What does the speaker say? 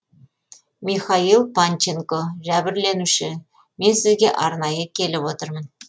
михаил панченко жәбірленуші мен сізге арнайы келіп отырмын